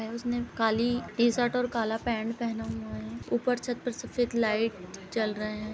ए उसने काली टी-शर्ट और काला पैंट पहना हुआं है। ऊपर छत पर सफेद लाइट जल रहे हैं।